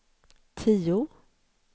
tio